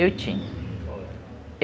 Eu tinha. Qual era?